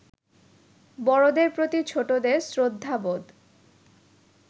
বড়দের প্রতি ছোটদের শ্রদ্ধাবোধ